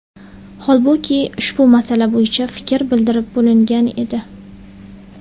Holbuki ushbu masala bo‘yicha fikr bildirib bo‘lingan edi.